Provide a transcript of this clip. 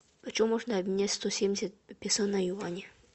почем можно обменять сто семьдесят песо на юани